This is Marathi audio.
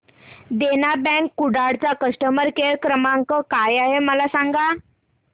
देना बँक कुडाळ चा कस्टमर केअर क्रमांक काय आहे मला सांगा